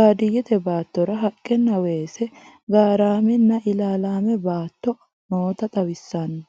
baadiyeette baattora haqqenna, weesse, garaamme nna ilaalame baatto noota xawisanno.